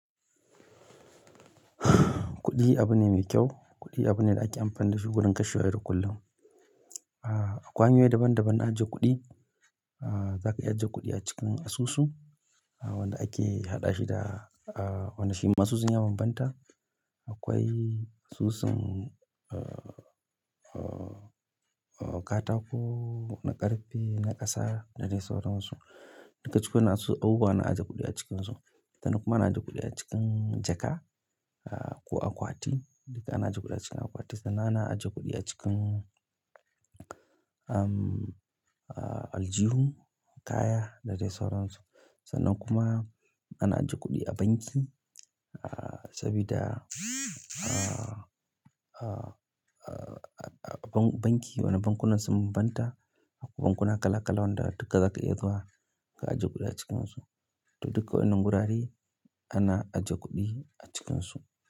Kuɗi abu ne mai kyau. Kuɗi abu ne da ake amfani da shi wurin kashe wayar kullum. Akwai hanyoyi daban-daban na ajiye kuɗi. Zaka iya ajiye kuɗi a cikin asusu wanda ake haɗa shi da aa wani shi ma su sun yi yawa bambanta. Akwai asusun aa aa aa katako na ƙarfe na ƙasa da dai sauran su. Duka cikin wayan nan su abubuwa ana ajiye kuɗi a cikinsu. Sannan kuma ana ajiye kuɗi a cikin jaka ko akwati. Duka ana ajiye kuɗi a cikin akwati sannan ana ajiye kuɗi a cikin aljihun ƙaya da dai sauran su. Sannan kuma ana ajiye kuɗi a banki sabida banki, wani bankunan sun bambanta bankuna kala kala wanda duka zaka iya zuwa ka ajiye kuɗi a cikin su to duka wannan gurare ana ajiye kuɗi a cikinsu.